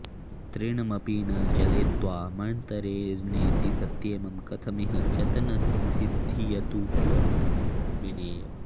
तृणमपि न चलेत्त्वामन्तरेणेति सत्ये मम कथमिह यत्नस्सिध्यतु त्वां विनैव